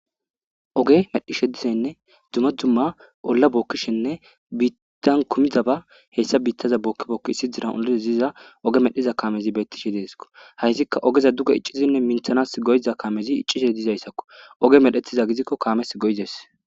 Ogge medhdhishe diizanne dumma dumma ola bokishshenne biitan kumidabba hessa biitaza boki boki issisan oliza ogge medhiza kaamezi betishe dessiko haysikka ogeza duge iccidinne minththanas goiza kaamezi iccishshe dizayssako oggey medhdhetizaysa gidiko kaames goides.